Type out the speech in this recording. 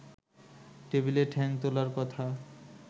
টেবিলে ঠ্যাং তোলার কথা